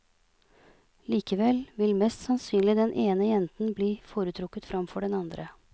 Likevel vil mest sannsynlig den ene jenten bli foretrukket framfor den andre.